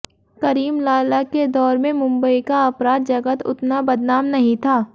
करीम लाला के दौर में मुंबई का अपराध जगत उतना बदनाम नहीं था